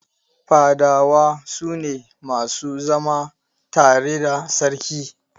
Fadawa su ne masu zama tare da Sarki.